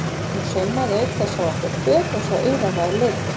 Hún saumaði auk þess á okkur föt eins og auraráð leyfðu.